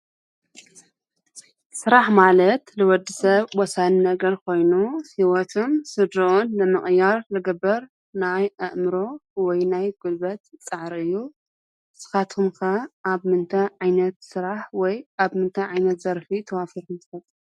ስራሕ ማለት ንወድሰብ ወሳኒ ነገር ኮይኑ ሂወቱን ስድርኡን ንምቅያር ዝግበር ናይ አእምሮ ወይ ናይ ጉልበት ፃዕሪ እዩ። ንስካትኩም ከ አብ ምንታይ ዓይነት ስራሕ ወይ አብ ምንታይ ዓይነት ዘርፊ ተዋፊርኩም ትፈልጡ።